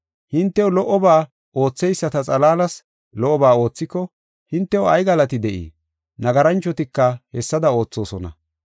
Hintew lo77oba ootheyisata xalaalas lo77oba oothiko hintew ay galati de7ii? Nagaranchotika hessada oothosona.